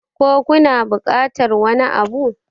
ko kuna bukatar wani Abu?